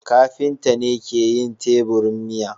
kafinta ne ke yin teburin miya.